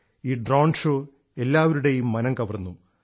ഈ drone show എല്ലാപേരുടെയും മനം കവർന്നു